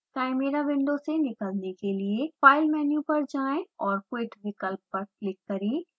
chimera window से निकलने के लिए file मेनू पर जाएँ और quit विकल्प पर क्लिक करें